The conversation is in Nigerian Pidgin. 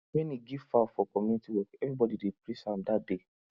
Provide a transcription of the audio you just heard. when he give fowl for community work everybody dey praise am that day